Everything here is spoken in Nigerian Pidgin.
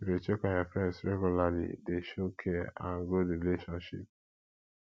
to de check on your friends regularly de show care and grow the relationship